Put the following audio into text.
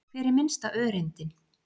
Hver er minnsta öreindin?